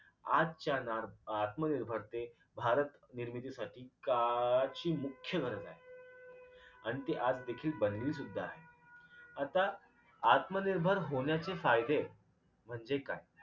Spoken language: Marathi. आजच्या नार आत्मनिर्भरते भारत निर्मितीसाठी काळाची मुख्य गरज आहे आणि ती आज देखील बनली सुद्धा आहे आता आत्मनिर्भर होण्याचे फायदे म्हणजे काय